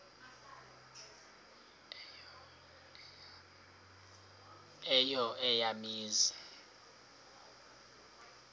eyo eya mizi